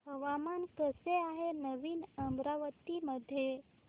हवामान कसे आहे नवीन अमरावती मध्ये